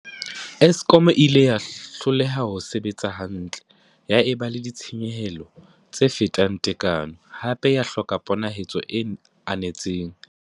Eskom e ile ya hloleha ho sebetsa hantle, ya eba le ditshenyehelo tse fetang tekano, hape ya hloka ponahaletso e anetseng.